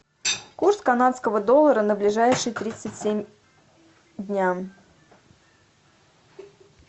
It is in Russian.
курс канадского доллара на ближайшие тридцать семь дня